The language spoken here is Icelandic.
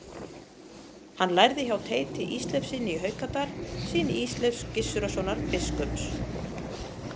Hann lærði hjá Teiti Ísleifssyni í Haukadal, syni Ísleifs Gissurarsonar biskups.